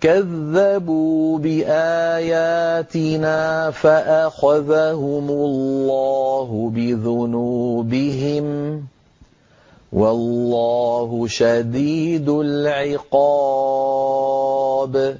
كَذَّبُوا بِآيَاتِنَا فَأَخَذَهُمُ اللَّهُ بِذُنُوبِهِمْ ۗ وَاللَّهُ شَدِيدُ الْعِقَابِ